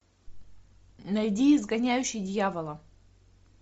найди изгоняющий дьявола